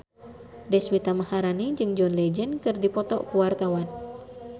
Deswita Maharani jeung John Legend keur dipoto ku wartawan